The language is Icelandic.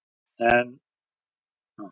En það eru þau og vel það.